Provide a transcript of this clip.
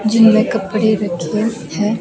जिनमे कपडे रखे है।